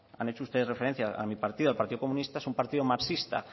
han hecho ustedes referencia a mi partido al partido comunista es un partido marxista